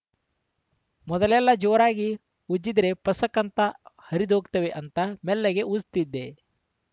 ಮೊದಲೆಲ್ಲಾ ಜೋರಾಗಿ ಉಜ್ಜಿದ್ರೆ ಪಸಕ್‌ ಅಂತ ಹರಿದೋಗ್ತವೆ ಅಂತ ಮೆಲ್ಲಗೆ ಉಜ್ತಿದ್ದೆ